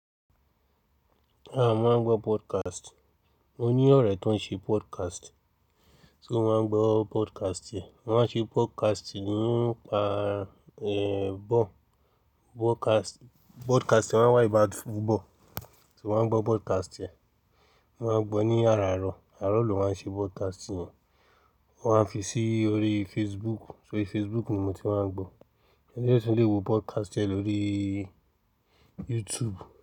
Mo máa ń gbọ́ podcast. Mo ní ọ̀rẹ́ tó ń ṣe podcast, so mo máa ń gbọ́ podcast e. Wọ́n máa ń ṣe podcast nípa, ball, podcast, podcast máa ń wá about football, so mo máa ń gbọ́ podcast e. Mo máa ń gbọ́ ní àràárọ̀, àràárọ̀ ló máa ń ṣe podcast yẹn. O máa n fi sí orí Facebook, so orí Facebook ni mo ti máa n gbó o je tún lè wọ podcast e lóríìì YouTube.